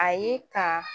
A ye ka